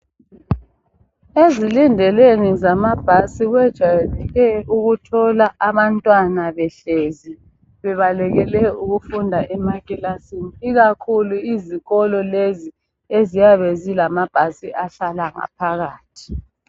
Ezilindelweni zamabhasi kwejayele ukuthola abantwana behlezi bebalekele ukufunda emakilasini ikakhulu izikolo lezi eziyabe zilamabhasi ahlala ngaphakathi.